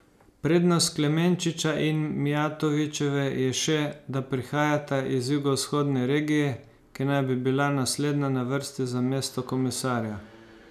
Prednost Klemenčiča in Mijatovićeve je še, da prihajata iz jugovzhodne regije, ki naj bi bila naslednja na vrsti za mesto komisarja.